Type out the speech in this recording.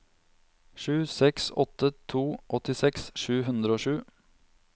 sju seks åtte to åttiseks sju hundre og sju